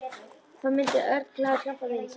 Þá myndi Örn glaður hjálpa vini sínum.